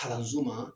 Kalanso ma